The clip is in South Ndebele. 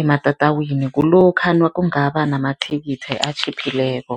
ematatawini, kulokha kungaba namathikithi atjhiphileko.